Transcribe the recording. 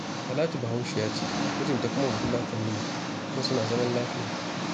Talatu Bahaushiya ce, mijinta kuma Bafulatani ne kuma suna zaman lafiya